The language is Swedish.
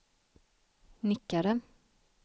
nickade